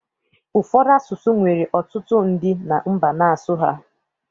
Ụfọdụ asụsụ nwere ọtụtụ ndị na mba n'asụ ha